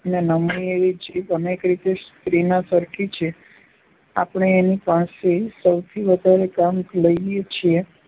ને નમણી એવી જીભ અનેક રીતે સ્ત્રીના સરખી છે. આપણે એની પાસે સૌથી વધારે કામ લઈએ છીએ